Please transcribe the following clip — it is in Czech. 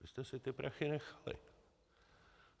Vy jste si ty prachy nechali.